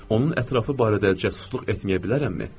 Onun ətrafı barədə cəsusluq etməyə bilərəmmi?